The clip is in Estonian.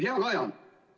Hea Kaja!